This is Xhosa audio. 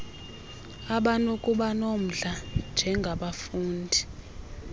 abanokuba nomdla njengabafundi